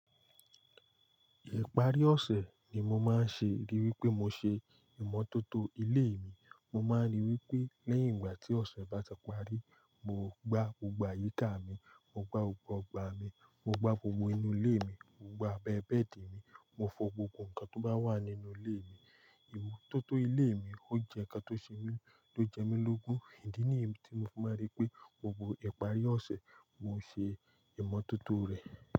Ìparí ọ̀sẹ̀ ni mo máa ń ṣe rí wí pé mo ṣe ìmọ́tótó ilé mi. Mo máa ń rí wí pé lẹ́yìn ìgbà tí ọ̀sẹ̀ bá ti parí, mo gbá gbogbo àyíká mi, mo gbá gbogbo ọgbà mi, mo gbá gbogbo inú ilé mi, mo gbá abẹ bẹ́ẹ̀dì mi, mo fọ gbogbo nǹkan tó bá wà nínú ilé mi. Ìmọ́tótó ilé mi ò jẹ́ ǹkan tó ṣe mí, ló jẹ́ mi lógún. Ìdí nìyẹn tí mo fi máa rí pé gbogbo ìparí ọ̀sẹ̀, mo ṣe ìmọ́tótó rẹ̀